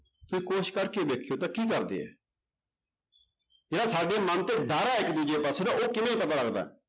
ਕਰਕੇ ਵੇਖਿਓ ਤਾਂ ਕੀ ਕਰਦੇ ਹੈ ਜਿਹੜਾ ਸਾਡੇ ਮਨ ਤੇ ਡਰ ਹੈ ਇੱਕ ਦੂਜੇ ਪਾਸੇ ਦਾ ਉਹ ਕਿਵੇਂ ਪਤਾ ਲੱਗਦਾ ਹੈ